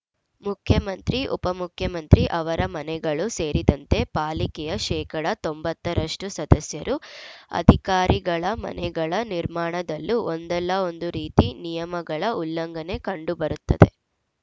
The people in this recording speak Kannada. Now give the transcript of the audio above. ಮುಖ್ಯಮಂತ್ರಿ ಉಪಮುಖ್ಯಮಂತ್ರಿ ಅವರ ಮನೆಗಳೂ ಸೇರಿದಂತೆ ಪಾಲಿಕೆಯ ಶೇಕಡಾ ತೊಂಬತ್ತ ರಷ್ಟುಸದಸ್ಯರು ಅಧಿಕಾರಿಗಳ ಮನೆಗಳ ನಿರ್ಮಾಣದಲ್ಲೂ ಒಂದಲ್ಲಾ ಒಂದು ರೀತಿ ನಿಯಮಗಳ ಉಲ್ಲಂಘನೆ ಕಂಡುಬರುತ್ತದೆ